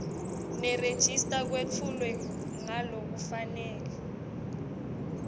nerejista kwetfulwe ngalokufanele